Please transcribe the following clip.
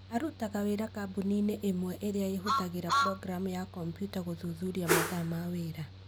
Arutaga wĩra kambũni-inĩ ĩmwe ĩrĩa ĩhũthagĩra programu ya kompyuta gũthuthuria mathaa ma wĩra.